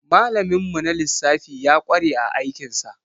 Malamin mu na lissafi ya ƙware a aikin sa.